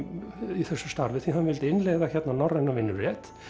í þessu starfi því hann vildi innleiða hérna norrrænan vinnurétt